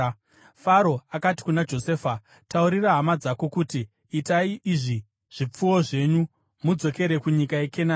Faro akati kuna Josefa, “Taurira hama dzako uti, ‘Itai izvi: Takudzai zvipfuwo zvenyu mudzokere kunyika yeKenani,